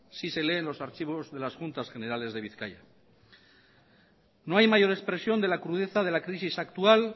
si se leen los archivos de las juntas generales de bizkaia no hay mayor expresión de la crudeza de la crisis actual